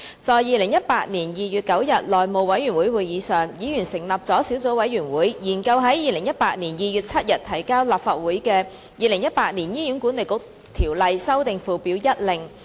在2018年2月9日內務委員會會議上，議員成立了小組委員會，研究在2018年2月7日提交立法會的《2018年醫院管理局條例令》。